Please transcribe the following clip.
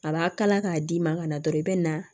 A b'a kala k'a d'i ma ka na dɔrɔn i bɛ na